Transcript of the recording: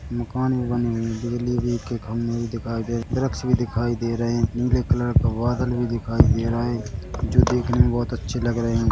मकान भी बने हुए है बिजली भी के खंबे दिखाई भी दे रहे है वृक्ष भी दिखाई दे रहे है नीले कलर का बादल भी दिखाई दे रहा है जो देखने मे बहुत अच्छे लग रहे है।